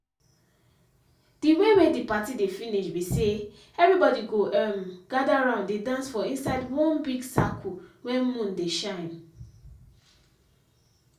the way wey the party dey finish be say everybody go um gather round dey dance for inside wan big circle wen moon dey shine.